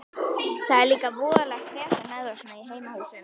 Það er líka voðalegt vesen með þá svona í heimahúsum.